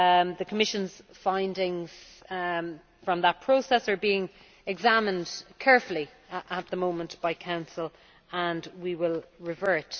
The Commission's findings from that process are being examined carefully at the moment by Council, and we will revert.